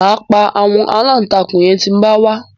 Máa pa àwọn aláǹtakùn yẹn tí ń bá wá